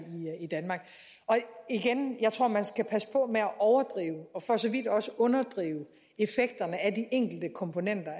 i danmark og igen jeg tror man skal passe på med at overdrive og for så vidt også underdrive effekterne af de enkelte komponenter